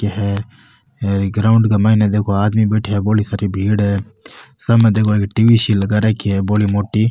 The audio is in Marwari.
यह ग्राउंड के माइन देखो आदमी बैठे है बोली सारी भीड़ है साम देखो एक टीवी सी लगा रखी है बोली मोटी --